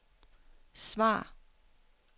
svar